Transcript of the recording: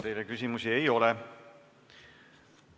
Teile küsimusi ei ole.